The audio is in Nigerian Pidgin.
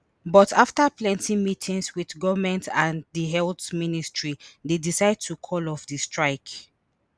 but afta plenty meetings wit goment and di health ministry dey decide to call of di strike